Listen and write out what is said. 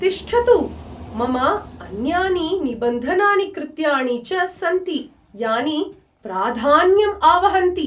तिष्ठतु, मम अन्यानि निबन्धनानि कृत्याणि च सन्ति यानि प्राधान्यं आवहन्ति।